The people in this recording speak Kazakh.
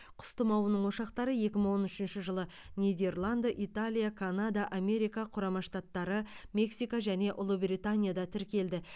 құс тұмауының ошақтары екі мың он үшінші жылы нидерланд италия канада америка құрама штаттары мексика және ұлыбританияда тіркелді